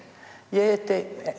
ég hitti